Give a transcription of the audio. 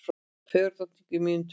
Fegurðardrottning í mínútu